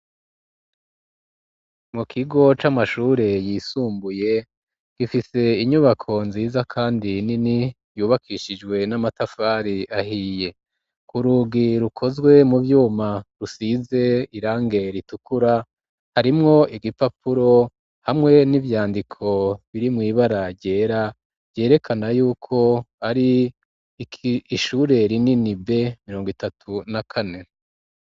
Mu kigo c'amashure yisumbuye gifise inyubako nziza kandi nini yubakishijwe n'amatafari ahiye ku rugi rukozwe mu vyuma rusize irangi ritukura harimwo igipapuro hamwe n'ivyandiko biri mw'ibara ryera vyerekana yuko ari ishure rinini B mirongo itatu na kane